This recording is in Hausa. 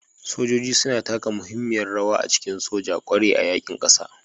Sojoji suna taka muhimmiyar rawa a cikin soja, ƙware a yaƙin ƙasa.